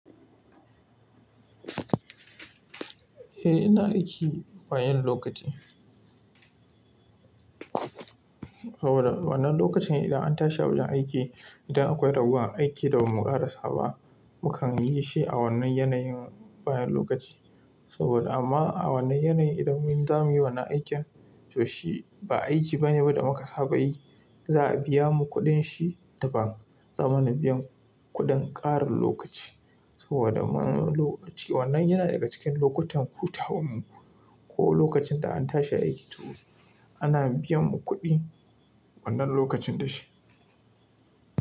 Eh, ina aiki bayan lokaci. Saboda wannan lokacin idan an tashi a wajen aiki, idan akwai ragowar aiki da ba mu ƙarasa ba, mukan yi shi a wannan yanayin bayan lokaci. Saboda amma a wannan yanayin idan mun za mu yi wannan aikin, to shi ba aiki bane da muka saba yi. Za a biya mu kuɗin shi daban. Za a mana biyan kuɗin ƙarin lokaci saboda mun lokaci wannan yana daga cikin lokutan hutawan mu. Ko lokacin da an tashi aiki toh, ana biyan mu kuɗi wannan lokacin da shi.